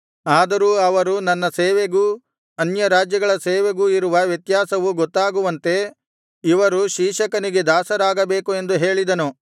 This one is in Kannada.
ಆದರೂ ಅವರು ನನ್ನ ಸೇವೆಗೂ ಅನ್ಯರಾಜ್ಯಗಳ ಸೇವೆಗೂ ಇರುವ ವ್ಯತ್ಯಾಸವು ಗೊತ್ತಾಗುವಂತೆ ಇವರು ಶೀಶಕನಿಗೆ ದಾಸರಾಗಬೇಕು ಎಂದು ಹೇಳಿದನು